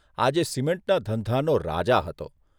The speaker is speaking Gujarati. આજે સિમેન્ટના ધંધાનો રાજા હતો